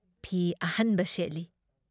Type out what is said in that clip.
ꯐꯤ ꯑꯍꯟꯕ ꯁꯦꯠꯂꯤ ꯫